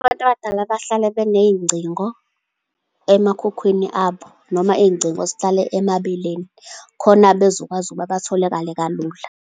Abantu abadala bahlala beney'ngcingo emakhukhwini abo, noma iy'ngcingo zihlale emabeleni, khona bezokwazi ukuba batholakale kalula.